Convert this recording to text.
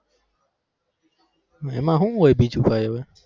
એમાં હું હોય બીજું કાઈ